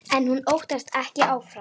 En hún óttast ekki álfa.